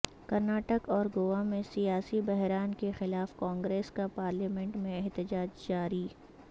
کرناٹک اور گوا میں سیاسی بحران کے خلاف کانگریس کا پارلیمنٹ میں احتجاج جاری